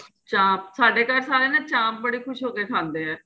ਚਾਂਪ ਸਾਡੇ ਘਰ ਸਾਰੇ ਨਾ ਚਾਂਪ ਬੜੇ ਖ਼ੁਸ਼ ਹੋਕੇ ਖਾਂਦੇ ਏ